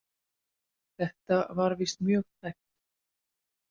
Þetta var víst mjög tæpt.